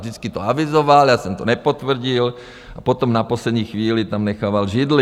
Vždycky to avizoval, já jsem to nepotvrdil a potom na poslední chvíli tam nechával židli.